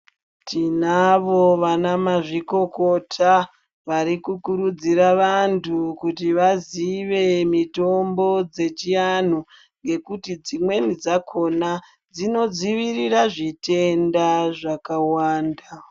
Tinavo vanamazvukokota varikukurudzira vantu kuti vazive mitombo dzechivantu ngekuti dzimweni dzakona dzinodzirira zvitenda zvakawanda.